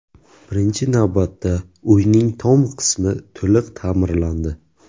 Birinchi navbatda uyning tom qismi to‘liq ta’mirlandi.